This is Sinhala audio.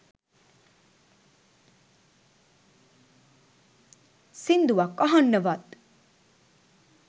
සින්දුවක් අහන්නවත්